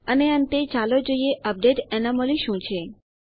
અને અંતે ચાલો જોઈએ અપડેટ એનોમલી શું છે